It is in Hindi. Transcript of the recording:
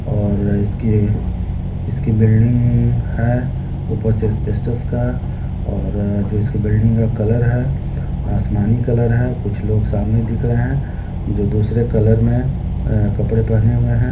और इसके इसकी बिल्डिंग है ऊपर से एस्बेस्टर का और जो इसकी बिल्डिंग का कलर है आसमानी कलर है कुछ लोग सामने दिख रहे है जो दूसरे कलर में अ कपड़े पहने हुए है।